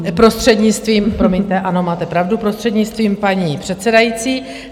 Prostřednictvím, promiňte, ano, máte pravdu, prostřednictvím paní předsedající.